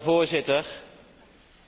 Voorzitter,